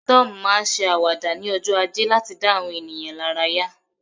Tom ma n se awada ni ojo aje lati da awọn ènìyàn laraya